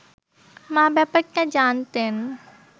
মা ব্যাপারটা জানতেন